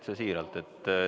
Täitsa siiralt.